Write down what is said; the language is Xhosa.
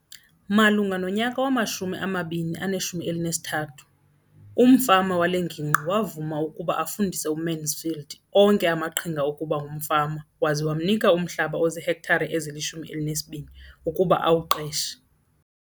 Malunga nonyaka wama-2013, umfama wale ngingqi wavuma ukuba afundise uMansfield onke amaqhinga okuba ngumfama waza wamnika umhlaba ozihektare ezili-12 ukuba awuqeshe.